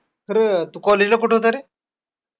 बरं, तू college ला कुठं होता रे?